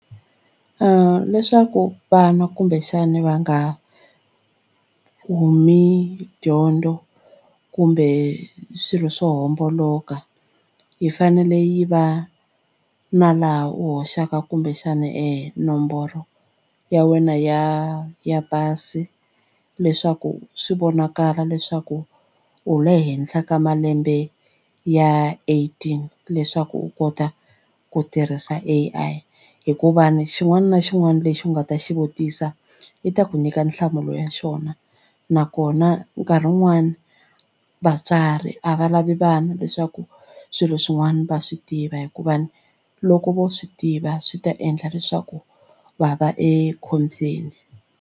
Leswaku vanwa kumbexani va nga kumi dyondzo kumbe swilo swo homboloka yi fanele yi va na laha u hoxaka kumbexana nomboro ya wena ya ya pasi leswaku swi vonakala leswaku u le henhla ka malembe ya eighteen leswaku u kota ku tirhisa A_I hikuva ni xin'wana na xin'wana lexi u nga ta xi vutisa ku i ta ku nyika nhlamulo ya xona nakona nkarhi wun'wani va vatswari a va lavi vana leswaku swilo swin'wana va swi tiva hikuva ni loko vo swi tiva swi ta endla leswaku va va ekhombyeni.